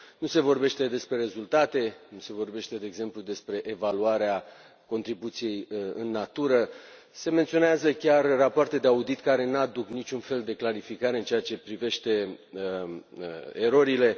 Nu se vorbește despre rezultate, nu se vorbește, de exemplu, despre evaluarea contribuției în natură, se menționează chiar rapoarte de audit care nu aduc niciun fel de clarificare în ceea ce privește erorile.